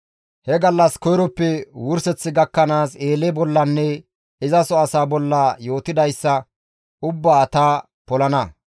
He gallas koyroppe wurseth gakkanaas Eele bollanne izaso asaa bolla yootidayssa ubbaa ta polana.